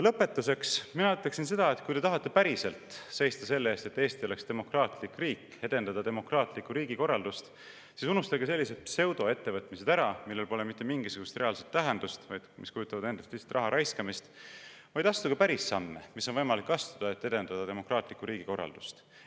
Lõpetuseks ma ütleksin seda, et kui te tahate päriselt seista selle eest, et Eesti oleks demokraatlik riik, ja edendada demokraatlikku riigikorraldust, siis unustage ära sellised pseudoettevõtmised, millel pole mitte mingisugust reaalset tähendust ja mis kujutavad endast lihtsalt raha raiskamist, vaid astuge päris samme, mida on võimalik astuda, et edendada demokraatlikku riigikorraldust.